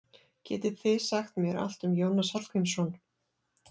Getið þið sagt mér allt um Jónas Hallgrímsson?